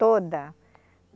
Toda.